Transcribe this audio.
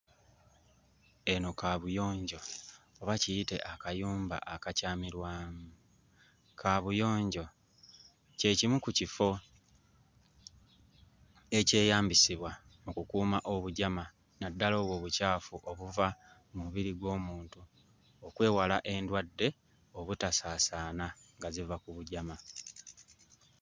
Eno kaabuyonjo oba kiyite akayumba akakyamirwamu. Kaabuyonjo kye kimu ku kifo ekyeyambisibwa okukuuma obujama, naddala obwo obucaafu obuva mu mubiri gw'omuntu okwewala endwadde obutasaasaana nga ziva ku bujama.